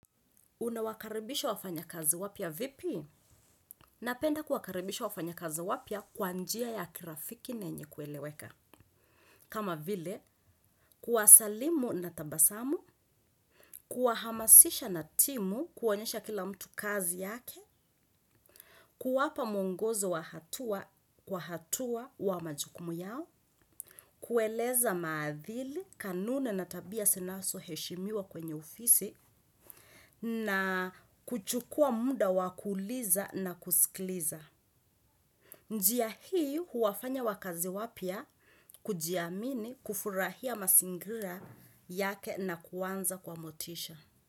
Unawakaribisha wafanya kazi wapya vipi? Napenda kuwakaribisha wafanya kazi wapia kwanjia ya kirafiki nenye kueleweka. Kama vile, kuwasalimu na tabasamu, kuwahamasisha na timu kuonyesha kila mtu kazi yake, kuwapa mwongozo wa hatua kwa hatua wa majukumu yao, kueleza maadhili, kanune na tabia sinaso heshimiwa kwenye ofisi, na kuchukua muda wa kuuliza na kusikiliza. Njia hii huwafanya wakazi wapya kujiamini kufurahia masingira yake na kuanza kwa motisha.